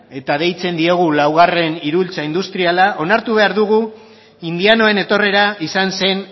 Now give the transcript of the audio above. eta deitzen diogu laugarren iraultza industriala onartu behar dugu indianoen etorrera izan zen